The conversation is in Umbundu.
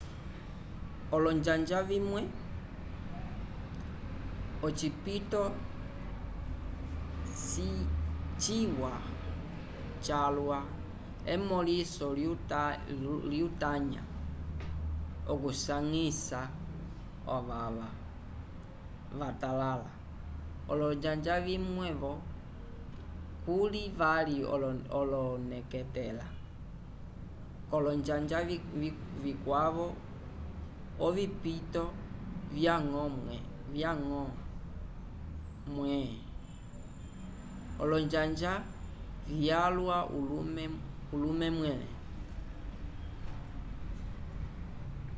olonjanja vimwe ocipito ciwa calwa emõliso lyutanya okusanyisa ovava vatalala olonjanja vimwe-vo kuli vali oneketela k'olonjanja vikwavo ovipito vyañgo mwẽ olonjanja vyalwa ulume mwẽle